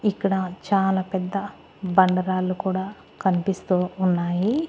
ఇక్కడ చాలా పెద్ద బండ రాళ్ళు కూడా కన్పిస్తూ ఉన్నాయి.